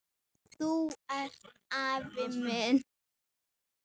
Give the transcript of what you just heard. Þú ert afi minn!